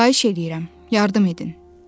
Xahiş eləyirəm, yardım edin.